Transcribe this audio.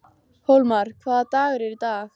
Hólmar, hvaða dagur er í dag?